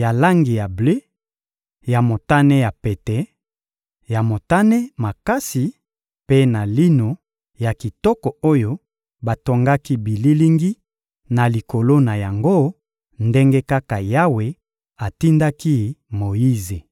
ya langi ya ble, ya motane ya pete, ya motane makasi mpe na lino ya kitoko oyo batongaki bililingi na likolo na yango, ndenge kaka Yawe atindaki Moyize.